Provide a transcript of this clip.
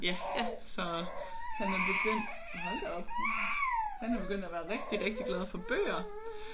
Ja så han er begyndt hold da op han er begyndt at være rigtig rigtig glad for bøger